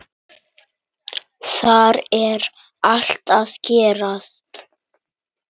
Þar er allt að gerast.